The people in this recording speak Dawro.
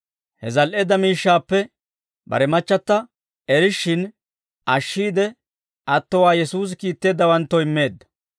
He zal"eedda miishshaappe bare machchata erishshin ashshiide, attowaa Yesuusi kiitteeddawanttoo immeedda.